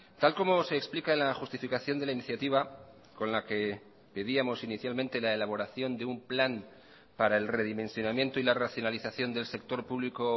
tal como se explica la justificación de la iniciativa con la que pedíamos inicialmente la elaboración de un plan para el redimensionamiento y la racionalización del sector público